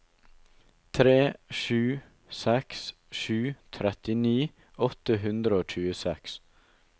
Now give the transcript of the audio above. tre sju seks sju trettini åtte hundre og tjueseks